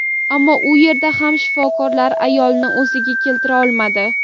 Ammo u yerda ham shifokorlar ayolni o‘ziga keltira olmadi.